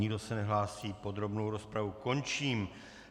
Nikdo se nehlásí, podrobnou rozpravu končím.